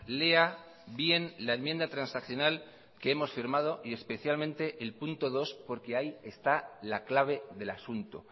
lea bien la enmienda transaccional que hemos firmado y especialmente el punto dos porque ahí está la clave del asunto